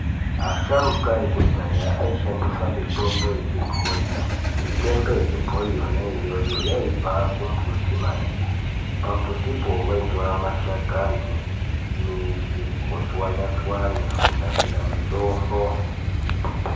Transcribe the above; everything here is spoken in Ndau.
Asharuka ekudhaya aishandisa mitombo yechibhoi , mitombo yechibhoi yona iyoyo yaibva kumbuti maningi, pambutipo vaitora mashakani, midzi votswanya-tswanya kunasira mitombo.